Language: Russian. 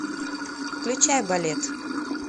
включай балет